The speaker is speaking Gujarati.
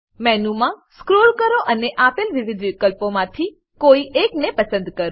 મેનુમાં સ્ક્રોલ કરો અને આપેલ વિવિધ વિકલ્પોમાંથી કોઈ એકને પસંદ કરો